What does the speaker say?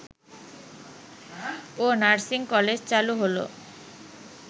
ও nursing college চালু হলো